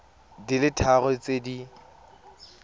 di le tharo tse di